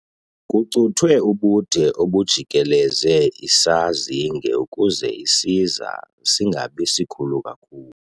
Kucuthwe ubude obujikeleze isazinge ukuze isiza singabi sikhulu kakhulu.